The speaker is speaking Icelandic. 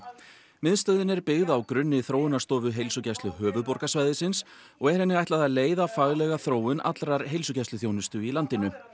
miðstöðin er byggð á grunni þróunarstofu Heilsugæslu höfuðborgarsvæðisins og er henni ætlað að leiða faglega þróun allrar heilsugæsluþjónustu í landinu